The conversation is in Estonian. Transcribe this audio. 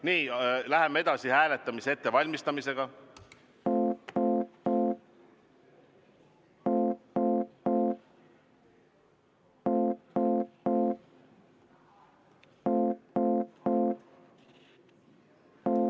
Nii, läheme edasi hääletamise ettevalmistamisega.